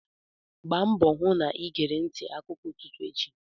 Gba mbọ hụ na ịgere ntị akụkọ n'ụtụtụ echi!